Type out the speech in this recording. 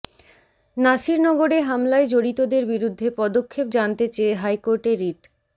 নাসিরনগরে হামলায় জড়িতদের বিরুদ্ধে পদক্ষেপ জানতে চেয়ে হাইকোর্টে রিট